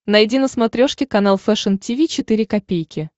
найди на смотрешке канал фэшн ти ви четыре ка